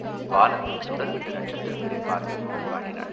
வானத்தில் சுடர்விட்ட நட்சத்திரங்களைப் பார்த்துக் கொண்டு பாடினாள்.